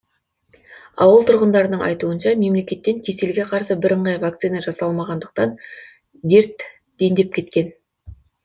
ауыл тұрғындарының айтуынша мемлекеттен кеселге қарсы бірыңғай вакцина жасалмағандықтан дер дендеп кеткен